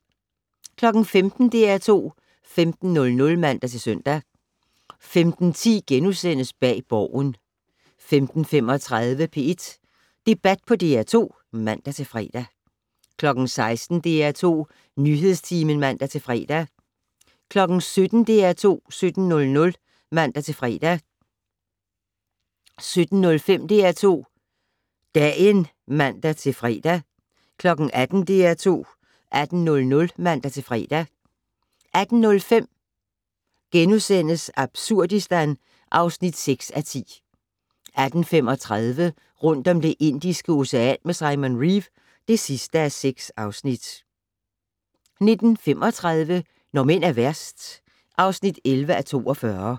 15:00: DR2 15:00 (man-søn) 15:10: Bag Borgen * 15:35: P1 Debat på DR2 (man-fre) 16:00: DR2 Nyhedstimen (man-fre) 17:00: DR2 17:00 (man-fre) 17:05: DR2 Dagen (man-fre) 18:00: DR2 18:00 (man-fre) 18:05: Absurdistan (6:10)* 18:35: Rundt om Det Indiske Ocean med Simon Reeve (6:6) 19:35: Når mænd er værst (11:42)